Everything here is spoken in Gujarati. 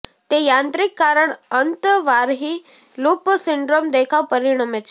તે યાંત્રિક કારણ અંતર્વાહી લૂપ સિન્ડ્રોમ દેખાવ પરિણમે છે